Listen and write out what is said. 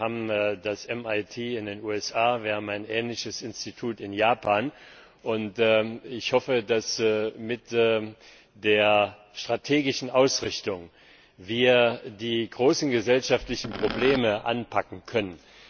Wir haben das MIT in den USA, wir haben ein ähnliches Institut in Japan und ich hoffe, dass wir mit der strategischen Ausrichtung die großen gesellschaftlichen Probleme anpacken können.